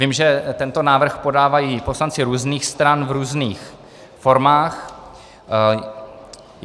Vím, že tento návrh podávají poslanci různých stran v různých formách.